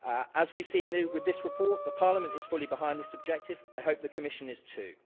As we've seen with this report, Parliament is fully behind this objective, and I hope the Commission is too.